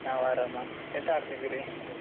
ನಾವು ಆರಾಮ ಎಂತ ಮಾಡ್ತಿದ್ದೀರಿ?